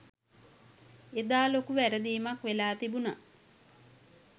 එදා ලොකු වැරදීමක් වෙලා තිබුණා.